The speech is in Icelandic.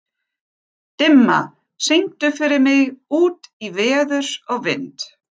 Dimma, syngdu fyrir mig „Út í veður og vind“.